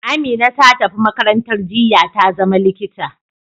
Amina ta tafi makarantar jinya ta zama likita.